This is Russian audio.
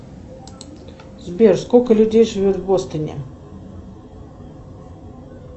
сбер сколько людей живет в бостоне